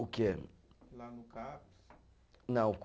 O quê? Lá no Caps. Não